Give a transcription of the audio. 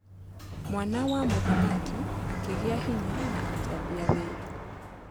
Mwana wa mũthamaki akĩgiĩ hinya na akĩambia wĩra.